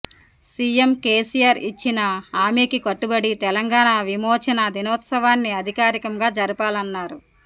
CM KCR ఇచ్చిన హామీకి కట్టుబడి తెలంగాణ విమోచన దినోత్సవాన్ని అధికారికంగా జరపాలన్నారు